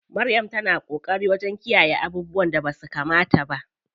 Maryam ta na ƙoƙari wajen kiyayye abubuwan da basu kamata ba.